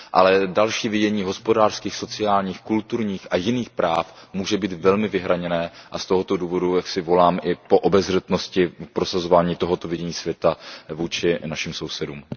Ale další vidění hospodářských, sociálních, kulturních a jiných práv může být velmi vyhraněné a z tohoto důvodu volám i po obezřetnosti v prosazování tohoto vidění světa vůči našim sousedům.